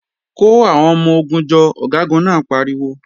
Kò àwọn ọmọ-ogun jọ, Ọ̀gágun náà pariwo!